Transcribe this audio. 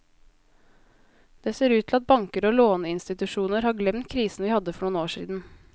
Det ser ut til at banker og låneinstitusjoner har glemt krisen vi hadde for noen år siden.